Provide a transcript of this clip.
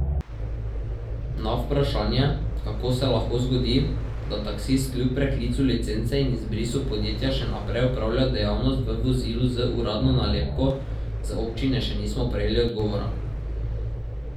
Na vprašanje, kako se lahko zgodi, da taksist kljub preklicu licence in izbrisu podjetja še naprej opravlja dejavnost v vozilu z uradno nalepko, z občine še nismo prejeli odgovora.